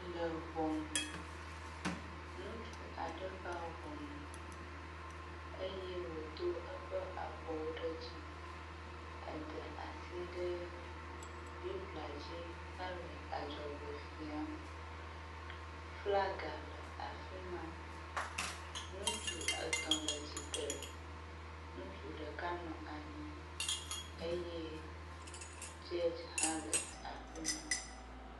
Le ŋɔnu, nutsu aɖe va ŋɔnu eye wòdo eƒe abɔwo ɖe dzi, ede asi ɖe Biblia dzi hele adzɔgbe fiam, flaga le afi ma, nutsu etɔ̃ le tsitre, nutsu ɖeka nɔ anyi eye “judge” hã le afi ma.